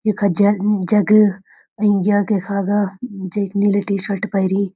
यखा जेग जग यख इखागा जेकी नीली टी शर्ट पैरीं।